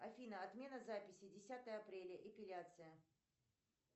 афина отмена записи десятое апреля эпиляция